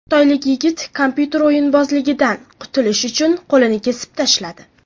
Xitoylik yigit kompyuter o‘yinbozligidan qutulish uchun qo‘lini kesib tashladi.